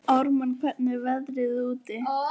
Ármann, hvernig er veðrið úti?